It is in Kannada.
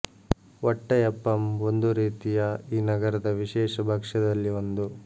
ವಟ್ಟಯಪ್ಪಂ ಒಂದು ರೀತಿಯ ಈ ನಗರದ ವಿಶೇಷ ಭಕ್ಷ್ಯದಲ್ಲಿ ಒಂದು